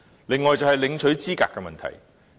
此外，是領取資格的問題。